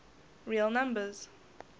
real numbers